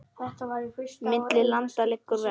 Milli landa liggur ver.